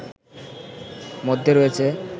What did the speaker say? মধ্যে রয়েছে